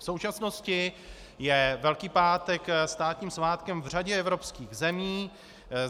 V současnosti je Velký pátek státním svátkem v řadě evropských zemí.